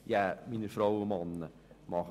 Liebe Frauen und Männer: